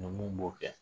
Ni mun b'o kɛ